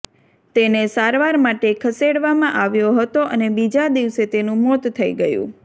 તેને સારવાર માટે ખસેડવામાં આવ્યો હતો અને બીજા દિવસે તેનું મોત થઈ ગયું